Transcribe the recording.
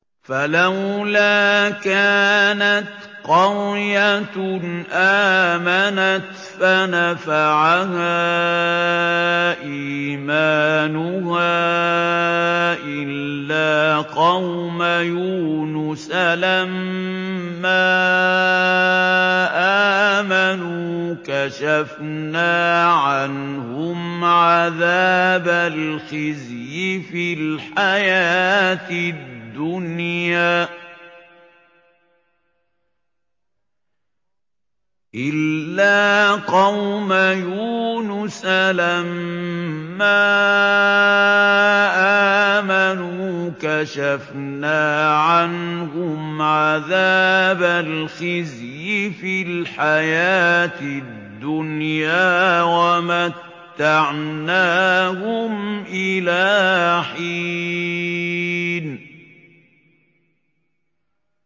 فَلَوْلَا كَانَتْ قَرْيَةٌ آمَنَتْ فَنَفَعَهَا إِيمَانُهَا إِلَّا قَوْمَ يُونُسَ لَمَّا آمَنُوا كَشَفْنَا عَنْهُمْ عَذَابَ الْخِزْيِ فِي الْحَيَاةِ الدُّنْيَا وَمَتَّعْنَاهُمْ إِلَىٰ حِينٍ